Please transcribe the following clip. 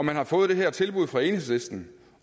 man har fået det her tilbud fra enhedslisten